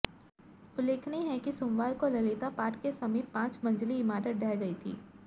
उल्लेखनीय है कि सोमवार को ललिता पार्क के समीप पांच मंजिली इमारत ढह गई थी